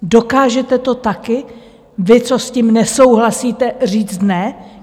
Dokážete to také, vy, co s tím nesouhlasíte, říct ne?